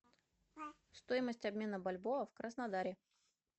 стоимость обмена бальбоа в краснодаре